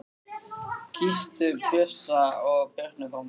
Kysstu Bjössa og Birnu frá mér.